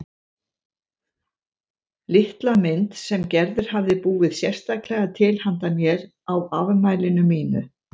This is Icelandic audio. Litla mynd sem Gerður hafði búið sérstaklega til handa mér á afmælinu mínu.